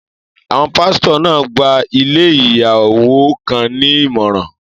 Àwọn pásítọ̀ náà gba ilé ìyàwó kan ní ìmọ̀ràn.